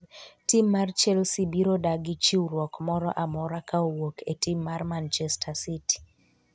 Tim mar chelsea biro dagi chiwruok moro amora ka owuok e tim mar manchester city